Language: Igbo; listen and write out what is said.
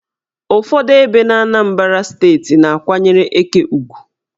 Ụfọdụ ebe n' Anambra steeti na-akwanyere eke ugwu.